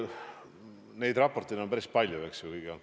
Neid raporteid on olnud päris palju, eks ju.